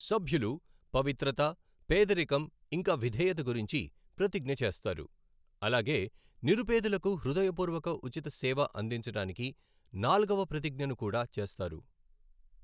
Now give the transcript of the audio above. సభ్యులు పవిత్రత, పేదరికం ఇంకా విధేయత గురించి ప్రతిజ్ఞ చేస్తారు, అలాగే నిరుపేదలకు హృదయపూర్వక ఉచిత సేవ అందించడానికి నాల్గవ ప్రతిజ్ఞను కూడా చేస్తారు.